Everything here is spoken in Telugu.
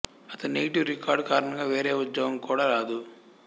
అతని నెగటివ్ రికార్డ్ కారణంగా వేరే ఉద్యోగం కూడా రాదు